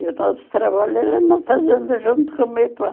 E o nosso trabalho era na fazenda junto com o meu pai.